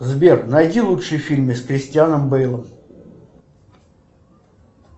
сбер найди лучшие фильмы с кристианом бейлом